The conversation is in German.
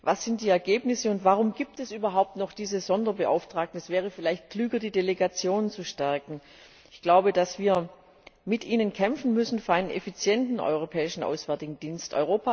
Was sind die Ergebnisse, und warum gibt es überhaupt noch diese Sonderbeauftragten? Es wäre vielleicht klüger, die Delegationen zu stärken. Ich glaube, dass wir mit Ihnen für einen effizienten Europäischen Auswärtigen Dienst kämpfen müssen.